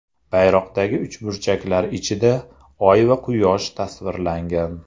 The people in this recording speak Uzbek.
Bayroqdagi uchburchaklar ichida oy va quyosh tasvirlangan.